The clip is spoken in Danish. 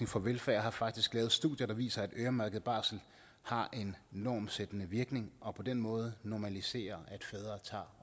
for velfærd har faktisk lavet studier der viser at øremærket barsel har en normsættende virkning og på den måde normaliserer